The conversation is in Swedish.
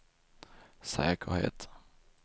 säkerhet